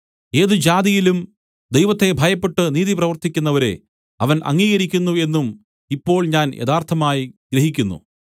ഏത് ജാതിയിലും ദൈവത്തെ ഭയപ്പെട്ട് നീതി പ്രവർത്തിക്കുന്നവരെ അവൻ അംഗീകരിക്കുന്നു എന്നും ഇപ്പോൾ ഞാൻ യഥാർത്ഥമായി ഗ്രഹിക്കുന്നു